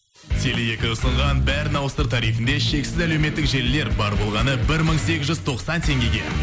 теле екі ұсынған бәрін ауыстыр тарифінде шексіз әлеуметтік желілер бар болғаны бір мың сегіз жүз тоқсан теңгеге